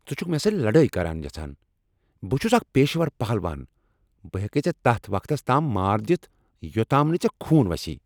ژےٚ چھُکھٕ مےٚ سۭتۍ لڑٲے کرٕنۍ یژھان؟ بہٕ چھس اکھ پیشور پہلوان! بہٕ ہیکے ژٕ تتھ وقتس تام مار دتھ یوٚتام نہٕ ژےٚ خون وسی۔